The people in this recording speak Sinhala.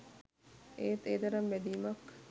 ඒත් ඒ තරම් බැඳීමක්